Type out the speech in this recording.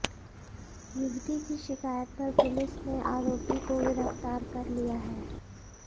युवती की शिकायत पर पुलिस ने आरोपी को गिरफ्तार कर लिया है